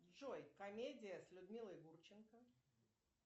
джой комедия с людмилой гурченко